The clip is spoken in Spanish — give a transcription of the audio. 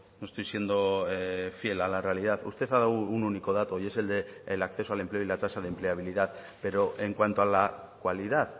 no estoy siendo fiel a la realidad usted ha dado un único dato y es el del acceso al empleo y la tasa de empleabilidad pero en cuanto a la cualidad